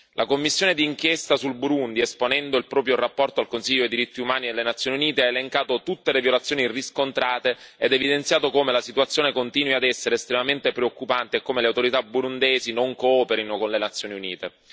La commissione d'inchiesta sul Burundi, esponendo il proprio rapporto al Consiglio diritti umani delle Nazioni Unite, ha elencato tutte le violazioni riscontrate e ha evidenziato come la situazione continui ad essere estremamente preoccupante e come le autorità burundesi non cooperino con le Nazioni Unite.